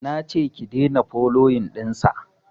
nace ki daina foloyin ɗinsa